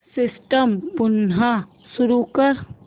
system पुन्हा सुरू कर